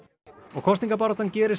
kosningabarátta gerist